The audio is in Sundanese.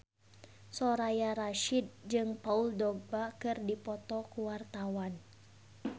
Soraya Rasyid jeung Paul Dogba keur dipoto ku wartawan